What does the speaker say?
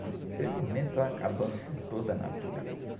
né? Infelizmente estão acabando com toda a natureza.